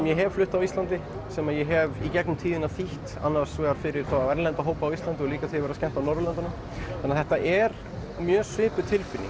ég hef flutt á Íslandi sem ég hef í gegnum tíðina þýtt annars vegar fyrir erlenda hópa á Íslandi og líka þegar að skemmta á Norðurlöndum þannig að þetta er mjög svipuð tilfinning